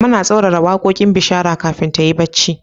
Mama na tsauraran waƙoƙin bishara kafin ta yin barci.